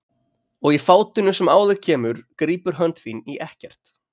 Og í fátinu sem á þig kemur grípur hönd þín í ekkert.